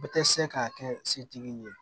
Bɛ tɛ se k'a kɛ setigi ye